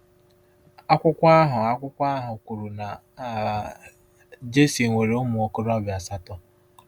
Akwụkwọ ahụ Akwụkwọ ahụ kwuru na um Jesse “nwere ụmụ okorobịa asatọ.”